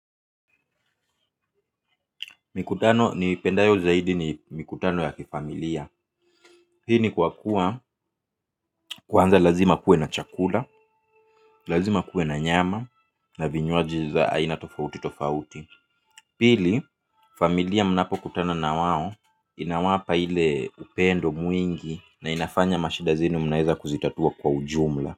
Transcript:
Mikutano niipendayo zaidi ni mikutano ya kifamilia. Hii ni kwa kuwa, kwanza lazima kuwe na chakula. Lazima kuwe na nyama na vinywaji za aina tofauti tofauti. Pili familia mnapokutana na wao. Inawapa ile upendo mwingi na inafanya mashida zenu mnaweza kuzitatua kwa ujumla.